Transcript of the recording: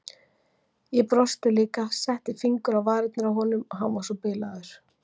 Ég brosti líka, setti fingur á varirnar á honum, hann var svo bilaður.